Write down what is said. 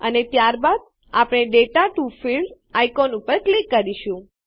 અને ત્યારબાદ આપણે દાતા ટીઓ ફિલ્ડ્સ આઇકોન પર ક્લિક કરીશું